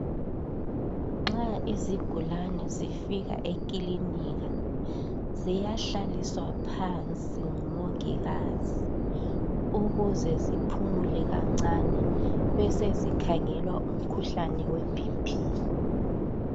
Nxa izigulane zifika ekilinika ziyahlaliswa phansi ngumongikazi ukuze ziphumule kancane besezikhangelwa umkhuhlane webp.